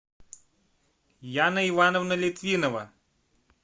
яна ивановна литвинова